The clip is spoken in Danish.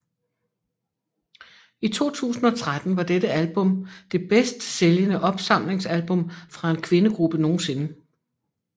I 2013 var dette album det bedst sælgende opsamlingsalbum fra en pigegruppe nogensinde